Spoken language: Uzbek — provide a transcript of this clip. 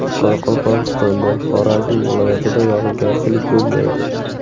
Qoraqalpog‘istonda, Xorazm viloyatida yog‘ingarchilik bo‘lmaydi.